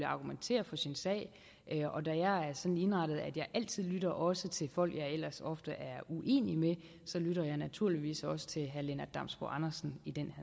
argumentere for sin sag og da jeg er sådan indrettet at jeg altid lytter også til folk jeg ellers ofte er uenig med lytter jeg naturligvis også til herre lennart damsbo andersen i den